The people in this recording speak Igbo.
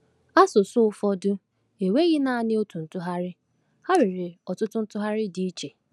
Asụsụ ụfọdụ enweghi naanị otu ntụgharị; ha nwere ọtụtụ ntụgharị dị iche.